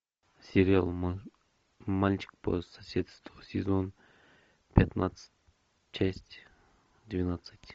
сериал мальчик по соседству сезон пятнадцать часть двенадцать